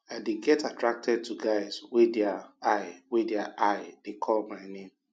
i dey get attracted to guys wey their eye wey their eye dey call my name